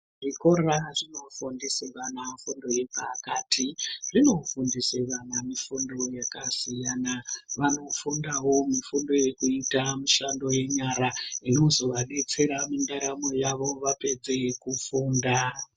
Zvikora zvinofundise vana fundo yepakati zvinofundisa vana fundo yakasiyana. Vanofundavo mifundo yekuita mishando yenyara inozovabetsera mundaramo yavo vapedze kufunda.